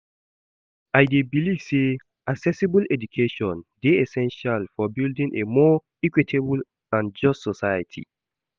I dey believe say accessible education dey essential for building a more equitable and just society.